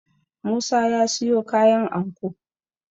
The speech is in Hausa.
musa ya siyo kayan anko